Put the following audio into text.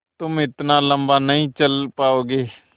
तुम इतना लम्बा नहीं चल पाओगे